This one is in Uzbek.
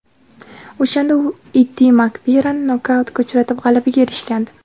O‘shanda u Iddi Makverani nokautga uchratib g‘alabaga erishgandi.